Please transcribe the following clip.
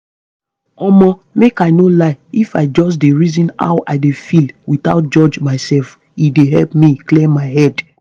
omo make i no lie if i just dey reason how i dey feel without judge myself e dey help me clear my head